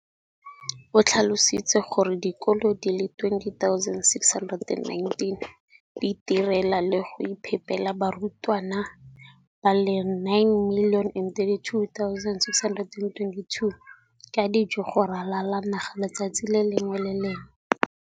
o tlhalositse gore dikolo di le 20 619 di itirela le go iphepela barutwana ba le 9 032 622 ka dijo go ralala naga letsatsi le lengwe le le lengwe.